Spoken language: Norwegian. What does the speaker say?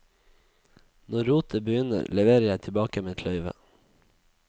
Når rotet begynner, leverer jeg tilbake mitt løyve.